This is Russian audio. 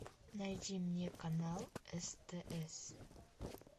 найди мне канал стс